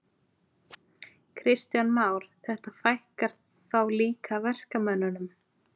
Kristján Már: Þetta fækkar þá líka verkamönnunum?